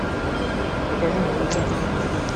покажи на тв телеканал морской